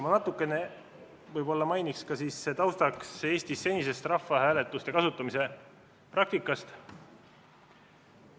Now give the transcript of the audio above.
Ma räägin natukene taustaks Eesti senisest rahvahääletuse kasutamise praktikast.